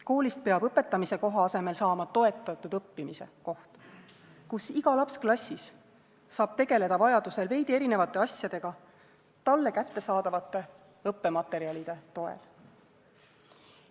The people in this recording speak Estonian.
Koolist peab õpetamise koha asemel saama toetatud õppimise koht, kus iga laps klassis saab tegeleda vajadusel veidi erinevate asjadega talle kättesaadavate õppematerjalide toel.